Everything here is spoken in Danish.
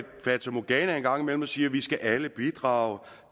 fatamorgana en gang imellem og siger vi skal alle bidrage